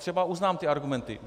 Třeba uznám ty argumenty.